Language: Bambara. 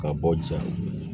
Ka bɔ ja